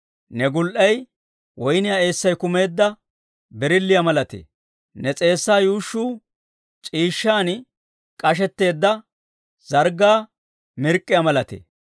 Ne gul"ay woyniyaa eessay kumeedda birilliyaa malatee; ne s'eessaa yuushshuu c'iishshan k'ashetteedda zarggaa mirk'k'iyaa malatee.